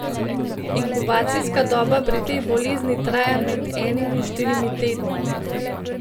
Inkubacijska doba pri tej bolezni traja med enim in štirimi tedni.